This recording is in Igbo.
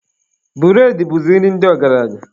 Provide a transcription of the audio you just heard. Bụredị bụzi nri ndị ọgaranya.